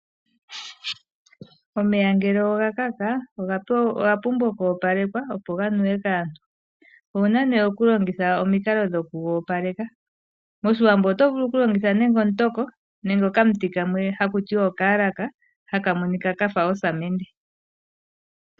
Omeya ngele oga kaka oga pumbwa oku opalekwa opo ganuwe kaantu owuna nee okulandula omukalo goku ga opaleka. Moshiwambo oto vulu okulongitha nenge omutoko nenge oka muti kamwe hakuti oka halaka haka monika kafa osamende.